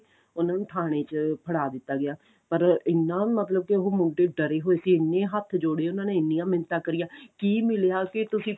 ਉਹਨਾ ਨੂੰ ਥਾਣੇ ਚ ਫੜਾ ਦਿੱਤਾ ਗਿਆ ਪਰ ਇੰਨਾ ਮਤਲਬ ਉਹ ਮੁੰਡੇ ਡਰੇ ਹੋਏ ਸੀ ਇੰਨੇ ਹੱਥ ਜੋੜੇ ਉਹਨਾ ਨੇ ਇੰਨੀਆਂ ਮਿੰਤਾਂ ਕਰੀਆਂ ਕਿ ਮਿਲਿਆ ਕਿ ਤੁਸੀਂ